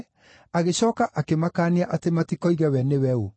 agĩcooka akĩmakaania atĩ matikoige we nĩwe ũ.